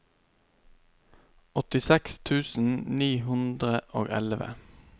åttiseks tusen ni hundre og elleve